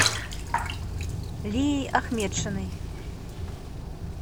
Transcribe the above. лией ахметшиной